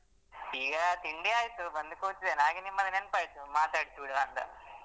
ಈಗ ತಿಂಡಿ ಆಯ್ತು ಬಂದು ಕೂತಿದ್ದೇನೆ ಹಾಗೆ ನಿಮ್ಮದು ನೆನಪಾಯಿತು ಮಾತಾಡಿಸಿ ಬಿಡುವಾಂತ.